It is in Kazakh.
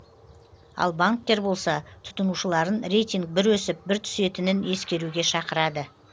ал банктер болса тұтынушыларын рейтинг бір өсіп бір түсетінін ескеруге шақырады